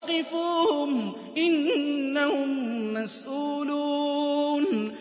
وَقِفُوهُمْ ۖ إِنَّهُم مَّسْئُولُونَ